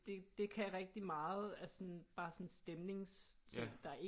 Det det kan rigtig meget altså sådan bare sådan stemningsting der ikke